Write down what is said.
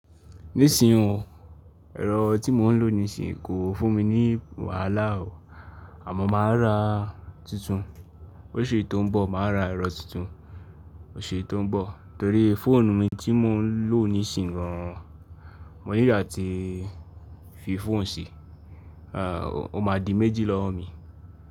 Nísìnyí o, ẹ̀rọ tí mò ń lò nísìnyí kò fún mi ní wàhálà o, àmọ́ màá ra tuntun. Oṣù tó ń bọ̀, màá ra ẹ̀rọ tuntun oṣù tó ń bọ̀ torí fóònù mi tí mò ń lò nísìnyí gan an, mo nílo áti fi fóònù ṣi, o máa di méjì lọ́wọ́ mi.